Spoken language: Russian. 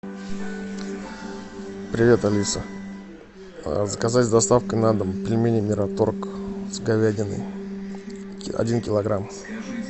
привет алиса заказать с доставкой на дом пельмени мираторг с говядиной один килограмм